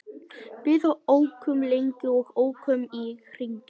Við ókum lengi og ókum í hringi.